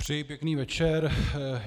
Přeji pěkný večer.